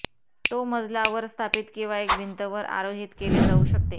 तो मजला वर स्थापित किंवा एक भिंत वर आरोहित केले जाऊ शकते